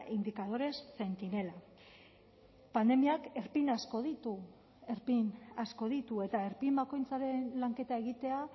indicadores centinela pandemiak erpin asko ditu erpin asko ditu eta erpin bakoitzaren lanketa egitea